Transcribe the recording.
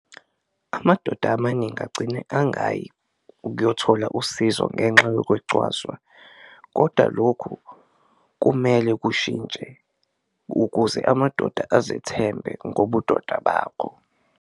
Amadoda amaningi agcina angayi ukuyothola usizo ngenxa yokwecwaswa koda lokhu kumele kushintshe ukuze amadoda azethembe ngobudoda bakho.